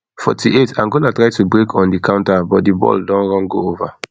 forty-eightangola try to break on di counter but di ball don run go ova